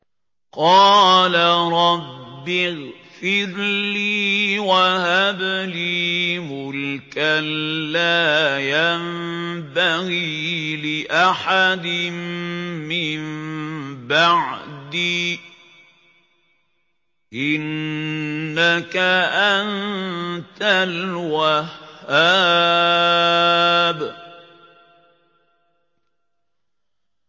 قَالَ رَبِّ اغْفِرْ لِي وَهَبْ لِي مُلْكًا لَّا يَنبَغِي لِأَحَدٍ مِّن بَعْدِي ۖ إِنَّكَ أَنتَ الْوَهَّابُ